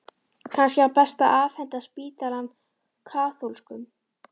Kannski var best að afhenda spítalann kaþólskum?